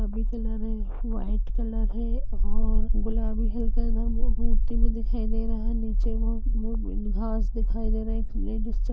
गुलाबी कलर है white colour है और गुलाबी हल्का इधर मु -मु -मूर्ति भी दिखाई दे रहा है निचे वह मु- घास दिखाई दे रहा है एक लेडीस चल --